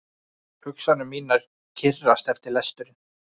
Hugsanir mínar kyrrast eftir lesturinn.